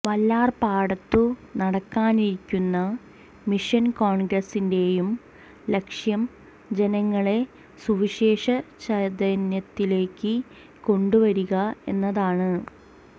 വല്ലാർപാടത്തു നടക്കാനിരിക്കുന്ന മിഷൻ കോൺഗ്രസിന്റെയും ലക്ഷ്യം ജനങ്ങളെ സുവിശേഷചൈതന്യത്തിലേക്ക് കൊണ്ടുവരിക എന്നതാണ്